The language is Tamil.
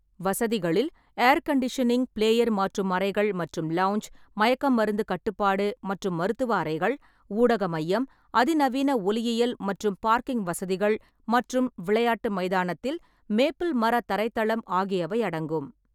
வசதிகளில் ஏர் கண்டிஷனிங், பிளேயர் மாற்றும் அறைகள் மற்றும் லவுஞ்ச், மயக்கமருந்து கட்டுப்பாடு மற்றும் மருத்துவ அறைகள், ஊடக மையம், அதிநவீன ஒலியியல் மற்றும் பார்க்கிங் வசதிகள் மற்றும் விளையாட்டு மைதானத்தில் மேப்பிள் மர தரைத்தளம் ஆகியவை அடங்கும்.